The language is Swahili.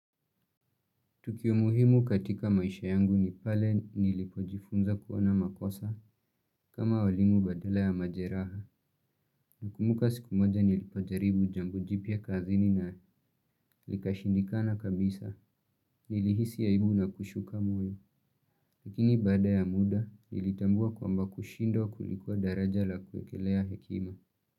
Tukio muhimu katika maisha yangu ni pale nilipojifunza kuona makosa kama walimu badala ya majeraha nakumbuka siku moja nilipojaribu jambo jipya kazini na likashindikana kabisa nilihisi aibu na kushuka moyo. Lakini bada ya muda nilitambua kwamba kushindwa kulikuwa daraja la kuekelea hekima.